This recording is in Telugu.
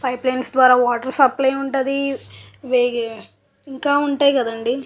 పైప్ లైన్స్ ద్వారా వాటర్ సప్లై ఉంటది ఇది ఇంకా ఉంటాయి కదండీ.